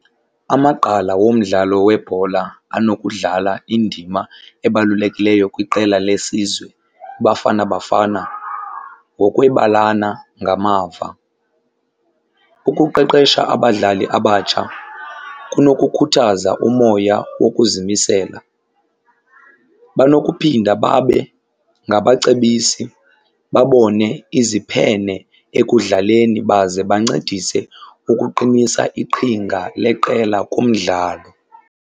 Amagqala womdlalo webhola anokudlala indima ebalulekileyo kwiqela lesizwe iBafana Bafana ngokwebalana ngamava. Ukuqeqesha abadlali abatsha kunokukhuthaza umoya wokuzimisela. Banokuphinda babe ngabacebisi, babone iziphene ekudlaleni, baze bancedise ukuqinisa iqhinga leqela kumdlalo.